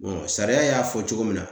sariya y'a fɔ cogo min na